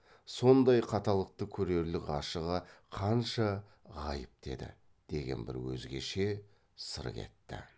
сондай қаталдықты көрерлік ғашығы қанша ғайыпты еді деген бір өзгеше сыр кетті